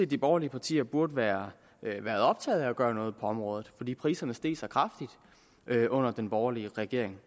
de borgerlige partier burde være optaget af at gøre noget på området fordi priserne steg så kraftigt under den borgerlige regering